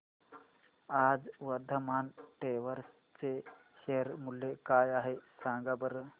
आज वर्धमान टेक्स्ट चे शेअर मूल्य काय आहे सांगा बरं